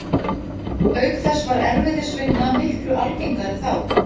Herra Brian er farinn, enda byrja jólin mun fyrr hjá honum en okkur hinum.